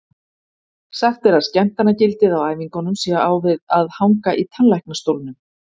Sagt er að skemmtanagildið á æfingunum sé á við að hanga í tannlæknastólnum.